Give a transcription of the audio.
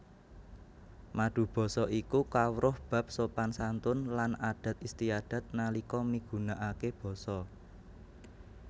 Madubasa iku kawruh bab sopan santun lan adat istiadat nalika migunakaké basa